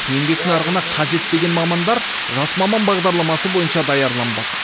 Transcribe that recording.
еңбек нарығына қажет деген мамандар жас маман бағдарламасы бойынша даярланбақ